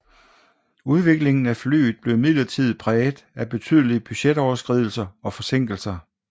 Udviklingen af flyet blev imidlertid præget af betydelige budgetoverskridelser og forsinkelser